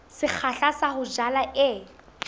sekgahla sa ho jala e